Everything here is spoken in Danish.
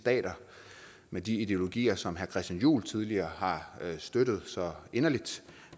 stater med de ideologier som herre christian juhl tidligere har støttet så inderligt